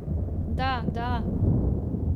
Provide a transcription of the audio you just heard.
Da, da!